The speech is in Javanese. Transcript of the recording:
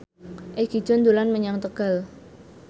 Egi John dolan menyang Tegal